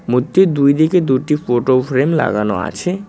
মধ্যে দুইদিকে দুটি ফোটো ফ্রেম লাগানো আছে।